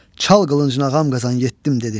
"Çal qılıncını ağam Qazan, yetdim!" dedi.